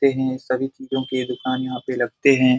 देखते है सभी चीजों की दुकान यहां पे लगते है।